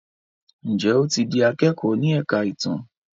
Njé o tí dì akẹkọ ní èka ìtàn?